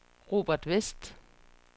Robert Westh